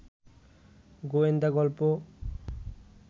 গোয়েন্দা গল্প